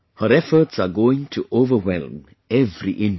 Her efforts are going to overwhelm every Indian